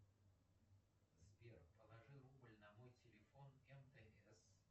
сбер положи рубль на мой телефон мтс